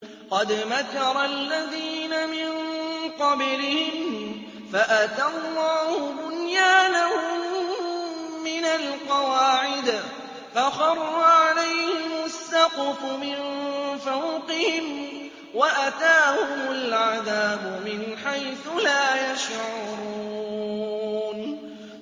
قَدْ مَكَرَ الَّذِينَ مِن قَبْلِهِمْ فَأَتَى اللَّهُ بُنْيَانَهُم مِّنَ الْقَوَاعِدِ فَخَرَّ عَلَيْهِمُ السَّقْفُ مِن فَوْقِهِمْ وَأَتَاهُمُ الْعَذَابُ مِنْ حَيْثُ لَا يَشْعُرُونَ